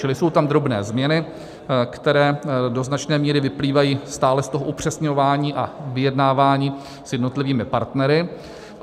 Čili jsou tam drobné změny, které do značné míry vyplývají stále z toho upřesňování a vyjednávání s jednotlivými partnery.